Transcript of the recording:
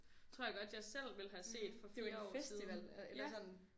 Tror jeg godt jeg selv ville have set for flere år siden